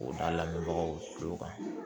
K'o da lamɛnbagaw tulo kan